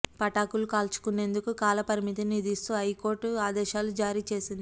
పటాకులు కాల్చేందుకు కాల పరిమితిని విధిస్తూ ఈ హైకోర్టు ఆదేశాలు జారీ చేసింది